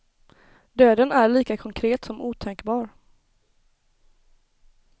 Döden är lika konkret som otänkbar.